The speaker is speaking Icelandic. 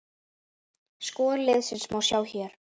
Skor liðsins má sjá hér